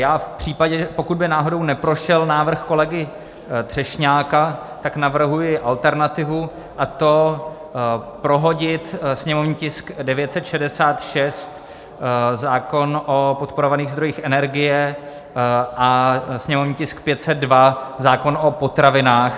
Já v případě, pokud by náhodou neprošel návrh kolegy Třešňáka, tak navrhuji alternativu, a to prohodit sněmovní tisk 966, zákon o podporovaných zdrojích energie, a sněmovní tisk 502, zákon o potravinách.